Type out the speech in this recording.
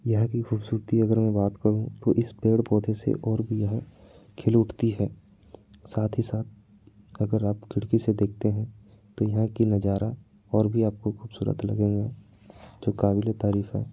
यहाँ की खूबसूरती अगर मैं बात करूं तो इस पेड़ पौधे से और भी यह खिल उठती है साथ ही साथ अगर आप खिड़की से देखते हैं तो यहाँ की नज़ारा और भी आपको खूबसूरत लगेंगे जो काबिले तारीफ हैं।